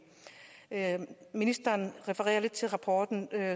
ministeren refererer lidt til rapporten